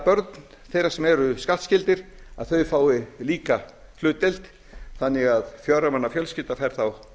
börn þeirra sem eru skattskyldir fái líka hlutdeild þannig að fjögurra manna fjölskylda fær þá